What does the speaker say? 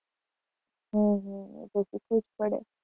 હમ હમ એ તો શીખવું જ પડે.